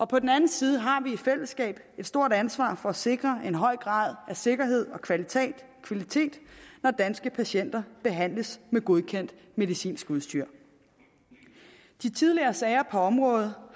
på den anden side har vi i fællesskab et stort ansvar for at sikre en høj grad af sikkerhed og kvalitet når danske patienter behandles med godkendt medicinsk udstyr de tidligere sager på området